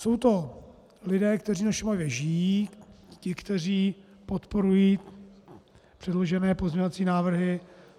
Jsou to lidé, kteří na Šumavě žijí, ti, kteří podporují předložené pozměňovací návrhy.